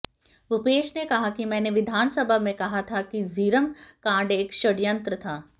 भूपेश ने कहा कि मैंने विधानसभा में कहा था कि झीरम कांड एक षडयंत्र था